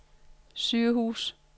sygehus